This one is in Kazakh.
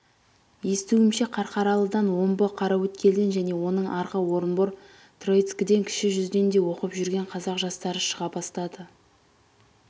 естуімше қарқаралыдан омбы қараөткелден және онан арғы орынбор троицкіден кіші жүзден де оқып жүрғен қазақ жастары шыға бастады